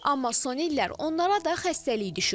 Amma son illər onlara da xəstəlik düşüb.